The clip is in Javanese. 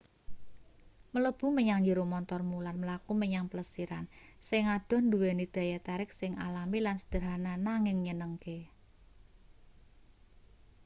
mlebu menyang njero montormu lan mlaku menyang plesiran sing adoh nduweni daya tarik sing alami lan sederhana nanging nyenengke